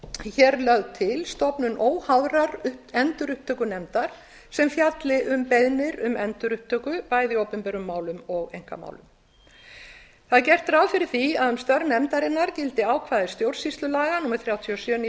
hér lögð til stofnun óháðrar endurupptökunefndar sem fjalli um beiðnir um endurupptöku bæði í opinberum málum og einkamálum það er gert ráð fyrir því að um störf nefndarinnar gildi ákvæði stjórnsýslulaga númer þrjátíu og sjö nítján